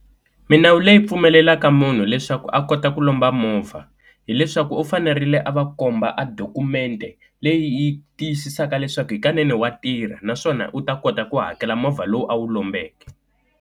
Milawu leyi pfumelelaka munhu leswaku a kota ku lomba movha hileswaku u fanerile a va komba a dokumende leyi yi tiyisisaka leswaku hikanene wa tirha, naswona u ta kota ku hakela movha lowu a wu lombeke.